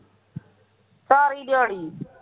ਸਾਰੀ ਦਿਹਾੜੀ